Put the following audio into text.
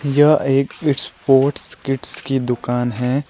यह एक sports kits की दुकान है।